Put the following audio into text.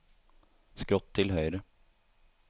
skrått til høyre